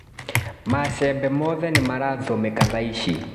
Macembe mothe nĩmarahũthĩka thaici.